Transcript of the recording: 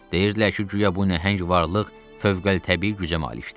Deyirdilər ki, güya bu nəhəng varlıq fövqəltəbii gücə malikdir.